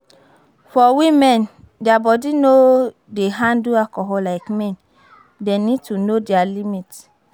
For women, their body no dey handle alcohol like men, dem need to know their limit